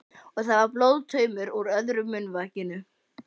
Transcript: Og það var blóðtaumur úr öðru munnvikinu.